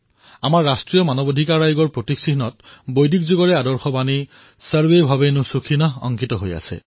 আমাৰ ৰাষ্ট্ৰীয় মানৱ অধিকাৰ আয়োগৰ প্ৰতীক চিহ্নত বৈদিনক যুগৰ আদৰ্শ সূত্ৰ সৰ্বে ভৱন্তু সুখিনঃ অংকিত কৰা হৈছে